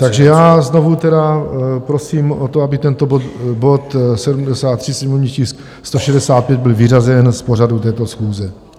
Takže já znovu tedy prosím o to, aby tento bod 73, sněmovní tisk 165, byl vyřazen z pořadu této schůze.